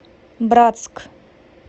братск